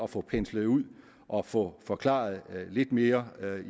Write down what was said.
få penslet ud og få forklaret lidt mere